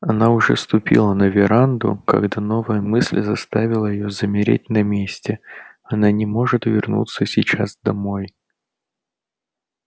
она уже ступила на веранду когда новая мысль заставила её замереть на месте она не может вернуться сейчас домой